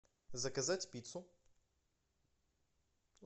заказать пиццу